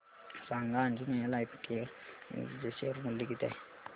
सांगा Anjaneya Lifecare Limited चे share मूल्य किती आहे